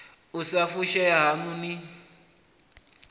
u sa fushea haṋu ni